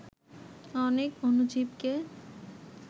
অনেক অণুজীবকে